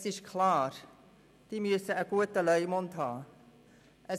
Es ist klar, dass diese einen guten Leumund haben müssen.